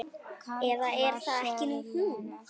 Eða er það ekki hún?